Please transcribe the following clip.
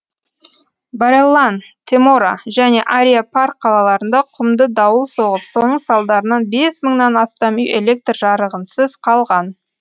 бареллан темора және ариа парк қалаларында құмды дауыл соғып соның салдарынан бес мыңнан астам үй электр жарығынсыз қалған